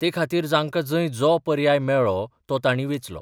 ते खातीर जांकां जंय जो पर्याय मेळ्ळो तो तांणी वेंचलो.